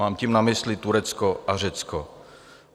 Mám tím na mysli Turecko a Řecko.